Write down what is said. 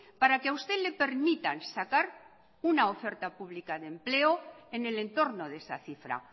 para que a usted le permitan sacar una oferta pública de empleo en el entorno de esa cifra